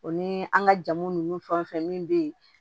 O ni an ka jamu nunnu fɛn o fɛn min be yen